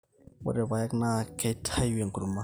ore ilpaek naa keityu enkurma